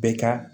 Bɛɛ ka